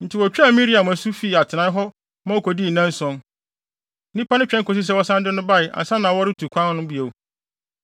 Enti wotwaa Miriam asu fii atenae hɔ ma okodii nnanson. Nnipa no twɛn kosii sɛ wɔsan de no bae ansa na wɔretu kwan no bio.